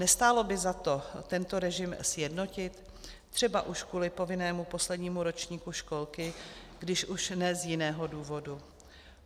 Nestálo by za to tento režim sjednotit, třeba už kvůli povinnému poslednímu ročníku školky, když už ne z jiného důvodu?